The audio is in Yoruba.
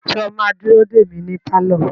Sọ ma dúró dè mí ní pálọ̀?